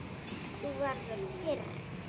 Þú verður kyrr.